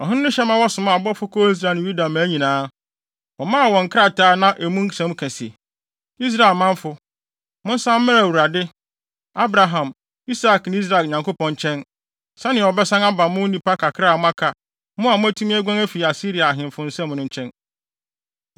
Ɔhene no hyɛ ma wɔsomaa abɔfo kɔɔ Israel ne Yuda mmaa nyinaa. Wɔmaa wɔn nkrataa a na emu nsɛm ka se: “Israel manfo, monsan mmra Awurade, Abraham, Isak ne Israel Nyankopɔn nkyɛn, sɛnea ɔbɛsan aba mo, nnipa kakra a moaka, mo a moatumi aguan afi Asiria ahemfo nsam no nkyɛn.